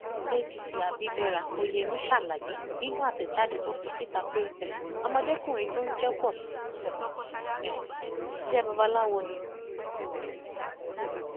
adc abibera oyemi ṣàlàyé nínú àtẹjáde tó fi síta pé um ọmọdékùnrin tó ń jẹ pọṣù yìí um ń ṣiṣẹ babaláwo ni